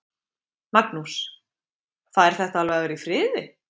Magnús: Fær þetta alveg að vera í friði?